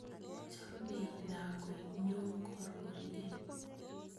Chamei lakwet nyo kororye